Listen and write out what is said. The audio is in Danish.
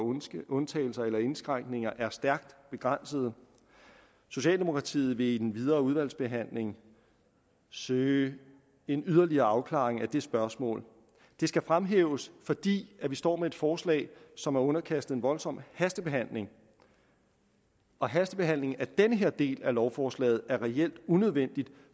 undtagelser i eller indskrænkninger af denne er stærkt begrænsede socialdemokratiet vil i den videre udvalgsbehandling søge en yderligere afklaring af det spørgsmål det skal fremhæves fordi vi står med et forslag som er underkastet en voldsom hastebehandling og hastebehandling af den her del af lovforslaget er reelt unødvendig